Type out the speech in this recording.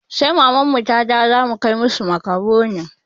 Sai maman mu ta dawo za mu kai musu makaronin